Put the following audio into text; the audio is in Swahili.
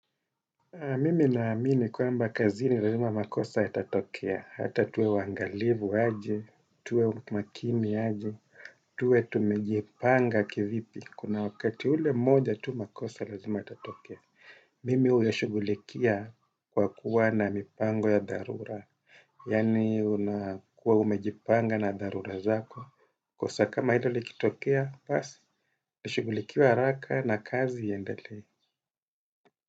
Mimi na amini kwamba kazini lazima makosa yatatokea. Hata tuwe waangalivu aje, tuwe makini aje, tuwe tumejipanga kivipi. Kuna wakati ule mmoja tu makosa lazima yatatokea. Mimi uyashughulikia kwa kuwa na mipango ya dharura. Yaani unakuwa umejipanga na dharura zako. Kosa kama hilo likitokea, basi, ishughulikiwe haraka na kazi iendelee.